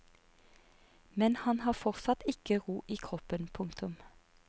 Men han har fortsatt ikke ro i kroppen. punktum